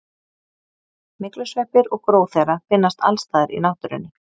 myglusveppir og gró þeirra finnast alls staðar í náttúrunni